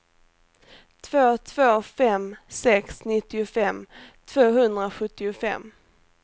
två två fem sex nittiofem tvåhundrasjuttiofem